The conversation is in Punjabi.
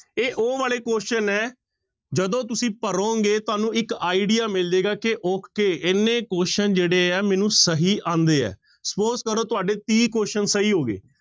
ਇਹ ਉਹ ਵਾਲੇ question ਹੈ ਜਦੋਂ ਤੁਸੀਂ ਭਰੋਂਗੇ ਤੁਹਾਨੂੰ ਇੱਕ idea ਮਿਲ ਜਾਏਗਾ ਕਿ okay ਇੰਨੇ question ਜਿਹੜੇ ਹੈ ਮੈਨੂੰ ਸਹੀ ਆਉਂਦੇ ਹੈ suppose ਕਰੋ ਤੁਹਾਡੇ ਤੀਹ question ਸਹੀ ਹੋ ਗਏ।